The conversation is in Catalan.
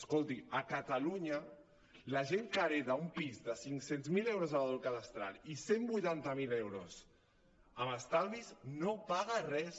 escolti a catalunya la gent que hereta un pis de cinc cents miler euros de valor cadastral i cent i vuitanta miler euros amb estalvis no paga res